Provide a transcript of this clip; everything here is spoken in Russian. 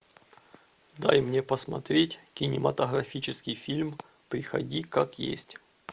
дай мне посмотреть кинематографический фильм приходи как есть